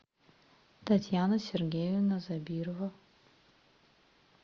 татьяна сергеевна забирова